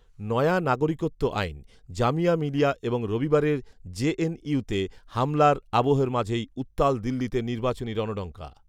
নয়া নাগরিকত্ব আইন, জামিয়া মিলিয়া এবং রবিবারের জেএনইউতে হামলার আবহের মাঝেই উত্তাল দিল্লিতে নির্বাচনী রণডঙ্কা